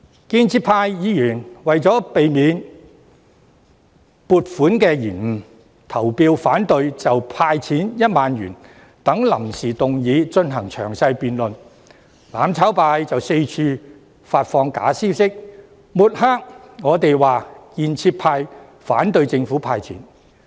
建制派議員為免撥款受到延誤，於是投票反對就"派錢 "1 萬元等臨時議案進行詳細辯論，但"攬炒派"卻到處發放假消息，抹黑建制派反對政府"派錢"。